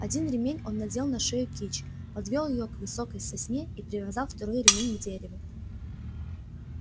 один ремень он надел на шею кичи подвёл её к высокой сосне и привязал второй ремень к дереву